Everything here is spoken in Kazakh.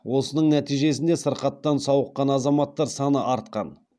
осының нәтижесінде сырқаттан сауыққан азаматтар саны артқан